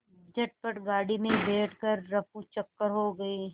झटपट गाड़ी में बैठ कर ऱफूचक्कर हो गए